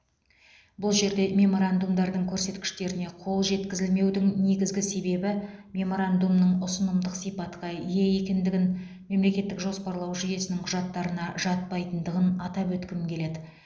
бұл жерде меморандумдардың көрсеткіштеріне қол жеткізілмеудің негізгі себебі меморандумның ұсынымдық сипатқа ие екендігін мемлекеттік жоспарлау жүйесінің құжаттарына жатпайтындығын атап өткім келеді